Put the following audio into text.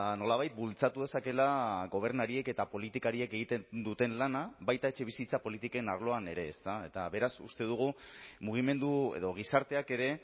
nolabait bultzatu dezakeela gobernariek eta politikariek egiten duten lana baita etxebizitza politiken arloan ere eta beraz uste dugu mugimendu edo gizarteak ere